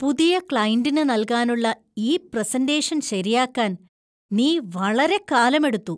പുതിയ ക്‌ളൈന്‍റിന് നൽകാനുള്ള ഈ പ്രസന്‍റേഷൻ ശരിയാക്കാൻ നീ വളരെക്കാലമെടുത്തു.